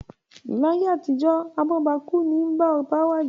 Láyé àtijó, abóbakú nii bá oba wàjà.